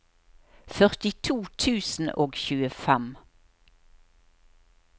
førtito tusen og tjuefem